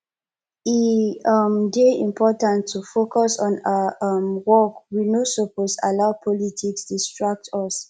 e um dey important to focus on our um work we no suppose allow politics distract us